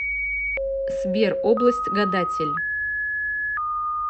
сбер область гадатель